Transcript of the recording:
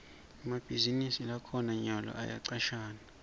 emabhizinisi lakhona nyalo ayacashana